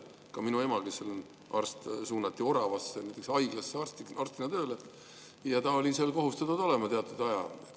Ka minu ema, kes on arst, suunati Orava haiglasse arstina tööle ja ta oli kohustatud olema seal teatud aja.